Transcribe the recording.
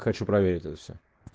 хочу проверить это всё